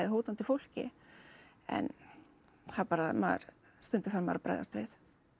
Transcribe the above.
hótandi fólki en það bara maður stundum þarf maður að bregðast við